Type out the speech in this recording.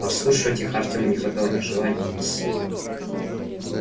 подслушивать их артёму не хватало ни желания ни сил